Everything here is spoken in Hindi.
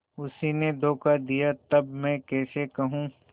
उसी ने धोखा दिया तब मैं कैसे कहूँ